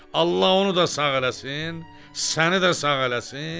Allah onu da sağ eləsin, səni də sağ eləsin.